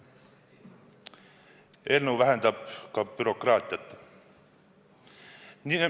Eelnõu vähendab ka bürokraatiat.